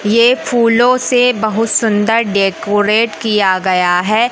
ये फूलों से बहुत सुंदर डेकोरेट किया गया है।